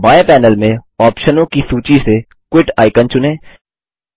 बाएँ पैनल में ऑप्शनों की सूची से क्विट आइकन चुनें